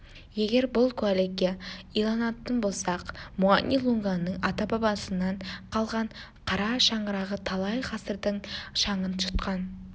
егер бұл куәлікке иланатын болсақ муани-лунганың ата-бабасынан қалған қара шаңырағы талай ғасырдың шаңын жұтқан